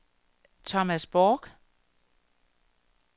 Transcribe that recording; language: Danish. Thomas Bork